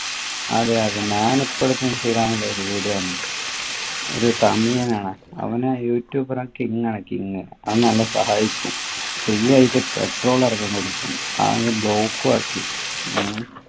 അതെ അതെ ഞാന് ഇപ്പോ ഇടക്ക് instagram ൽ ഒരു video കണ്ടു ഒരു തമിഴനാണു അവനെ youtuber king ആണ് king അവൻ നല്ല സഹായിക്കും free ആയിട്ട് petrol അടക്കം കൊടുക്കും അങ് block ഉം ആക്കി ഉം